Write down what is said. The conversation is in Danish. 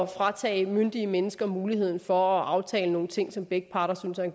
fratage myndige mennesker muligheden for at aftale nogle ting som begge parter synes er